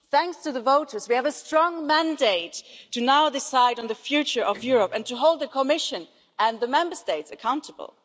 Thanks to the voters, we now have a strong mandate to decide on the future of Europe and to hold the Commission and the Member States accountable.